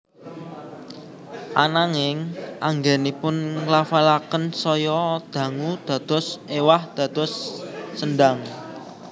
Ananging anggènipun nglafalaken saya dangu dados éwah dados sendang